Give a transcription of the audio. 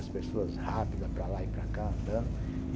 As pessoas rápidas, para lá e para cá, andando.